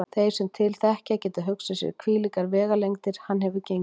Þeir sem til þekkja geta hugsað sér hvílíkar vegalengdir hann hefur gengið.